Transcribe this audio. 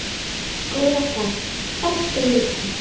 Góða ferð, elsku Hulda.